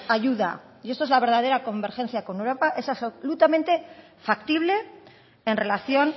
ayuda y esto es la verdadera convergencia con europa es absolutamente factible en relación